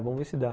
Vamos ver se dá.